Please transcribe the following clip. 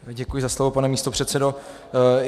Děkuji za slovo, pane místopředsedo.